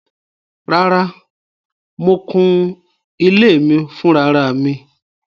Rárá, mo kụ́n ilẹ̀ mi fúnráràmì